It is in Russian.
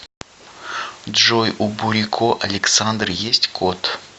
джой у бурико александры есть кот